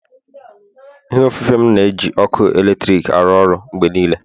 ihe ofufe m na-eji ọkụ eletrik arụ ọrụ mgbe niile